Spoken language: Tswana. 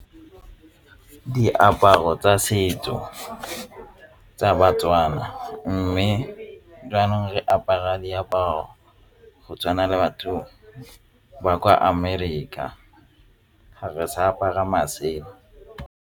Diaparo tsa setso tsa ba-Tswana mme jaanong re apara diaparo go tshwana le batho ba kwa Amerika a ga re sa apara masela.